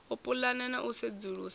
u pulana na u sedzulusa